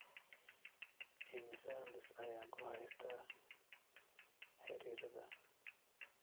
Immisa liis ayaan ku haystaa xiriirada?